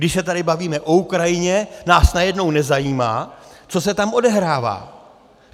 Když se tady bavíme o Ukrajině, nás najednou nezajímá, co se tam odehrává.